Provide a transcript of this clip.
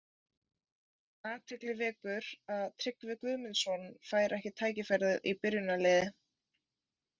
AThygli vekur að Tryggvi Guðmundsson fær ekki tækifæri í byrjunarliði.